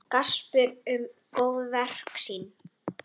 Gaspra um góðverk sín.